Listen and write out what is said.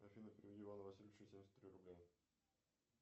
афина переведи ивану васильевичу семьдесят три рубля